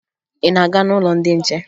Ị na-aga n'ụlọ ndị nche?